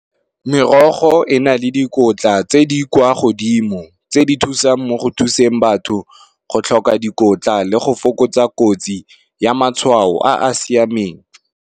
Merogo e na le dikotla tse di kwa godimo, tse di thusang mo go thuseng batho go tlhoka dikotla le go fokotsa kotsi ya matshwao a a siameng.